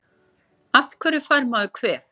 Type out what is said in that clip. Af hverju fær maður kvef?